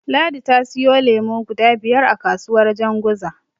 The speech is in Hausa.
Ladi ta siyo lemo guda biyar a kasuwar Janguza.